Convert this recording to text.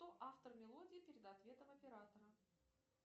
кто автор мелодии перед ответом оператора